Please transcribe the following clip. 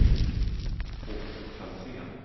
Åke Franzén